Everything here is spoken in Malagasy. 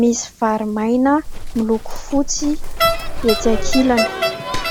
misy vary maina miloko fotsy etsy ankilany.